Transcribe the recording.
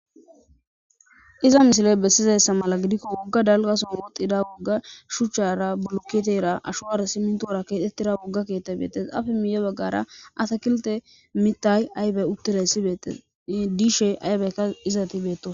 iza misile bessizayssa mala gidikko wogga dalgasun woxida wogga shuchchara bulukiteyra ashowar simintoora keexettira wogga keetta beetes afe miye baggara asakilte mitay aybe uttire sibeettes diishe aybeykka izati beetto